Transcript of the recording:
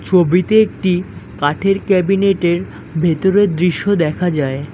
ছবিতে একটি কাঠের কেবিনেটের ভেতরের দৃশ্য দেখা যায়।